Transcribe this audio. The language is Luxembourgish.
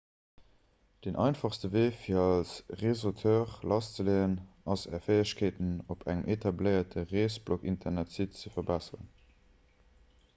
den einfachste wee fir als reesauteur lasszeleeën ass är fäegkeeten op engem etabléierte reesbloginternetsite ze verbesseren